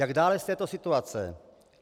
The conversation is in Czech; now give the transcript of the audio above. Jak dále z této situace?